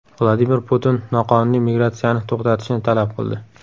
Vladimir Putin noqonuniy migratsiyani to‘xtatishni talab qildi.